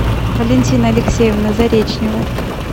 валентина алексеевна заречнева